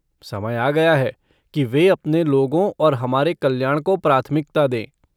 समय आ गया है कि वे अपने लोगों और हमारे कल्याण को प्राथमिकता दें।